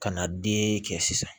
Ka na den kɛ sisan